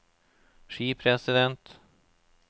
skipresident